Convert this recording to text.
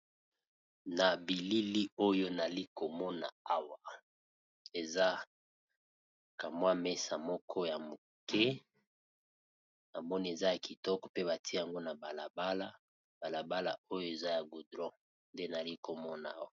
Na bilili oyo, nali komona awa, eza kamwa mesa moko ya muke. Namoni eza ya kitoko ! Pe batia yango na balabala. Balabala oyo, eza ya gudron. Nde nali komona awa.